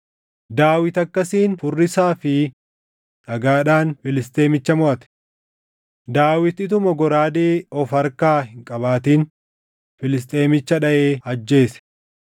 Daawit akkasiin furrisaa fi dhagaadhaan Filisxeemicha moʼate; Daawit utuma goraadee of harkaa hin qabaatin Filisxeemicha dhaʼee ajjeese.